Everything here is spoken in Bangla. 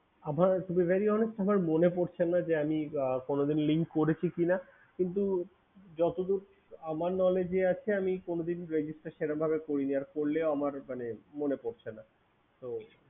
To be Very honest আমার মনে পরছে না আমি কোনোদিন link করেছি কিনা কিন্তু যতদূর আমার knowledge এ আছে আমি কোনোদিন register সেরকমভাবে করিনি আর করলেও মনে পরছে না